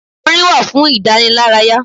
Orin wá fún ìdànílárayà.